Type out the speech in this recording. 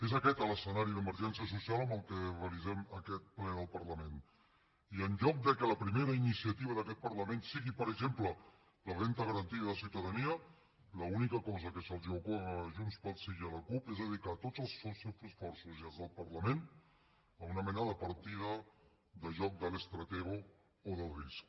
és aquest l’escenari d’emergència social amb què realitzem aquest ple del parlament i en lloc que la primera iniciativa d’aquest parlament sigui per exemple la renda garantida de ciutadania l’única cosa que se’ls ocorre a junts pel sí i a la cup és dedicar tots els seus esforços i els del parlament a una mena de partida de joc del stratego o del risk